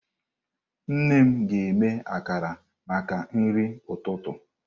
Nne m ga-eme akara maka nri ụtụtụ.